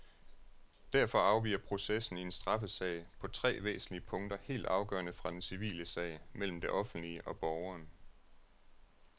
Derfor afviger processen i en straffesag på tre væsentlige punkter helt afgørende fra den civile sag mellem det offentlige og borgeren.